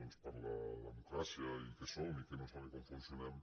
doncs per la democràcia i què som i què no som i com funcionem